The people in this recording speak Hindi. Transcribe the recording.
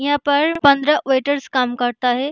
यहाँ पर पंद्रह वेटर्स काम करता है।